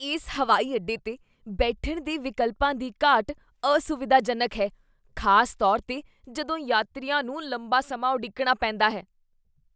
ਇਸ ਹਵਾਈ ਅੱਡੇ 'ਤੇ ਬੈਠਣ ਦੇ ਵਿਕਲਪਾਂ ਦੀ ਘਾਟ ਅਸੁਵਿਧਾਜਨਕ ਹੈ, ਖ਼ਾਸ ਤੌਰ 'ਤੇ ਜਦੋਂ ਯਾਤਰੀਆਂ ਨੂੰ ਲੰਬਾ ਸਮਾਂ ਉਡੀਕਣਾ ਪੈਂਦਾ ਹੈ।